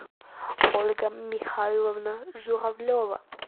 ольга михайловна журавлева